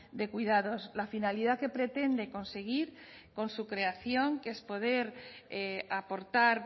de cuidados la finalidad que pretende conseguir con su creación que es poder aportar